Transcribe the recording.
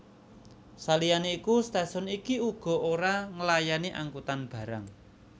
Saliyane iku stasiun iki uga ora nglayani angkutan barang